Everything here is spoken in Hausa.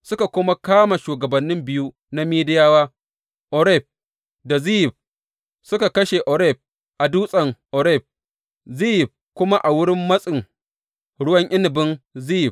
Suka kuma kama shugabannin biyu na Midiyawa, Oreb da Zeyib suka kashe Oreb a dutsen Oreb, Zeyib kuma a wurin matsin ruwa inabin Zeyib.